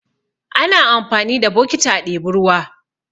Ana amfani da bokiti a ɗebi ruwa.